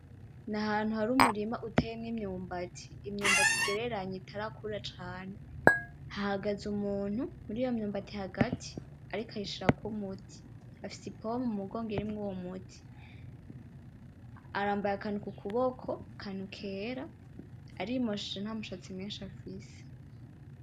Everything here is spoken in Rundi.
Nahantu hari umurima uteyemwo imyumbati n’imyumbati igereranye itarakura cane ,hahagaze umuntu muriyo myumbati hagati ariko ayishirako umuti afise ipompo mumugongo, irimwo uwo muti arambaye akantu kukuboko, akantu kera ari mosheje ntamushatsi mwishi afise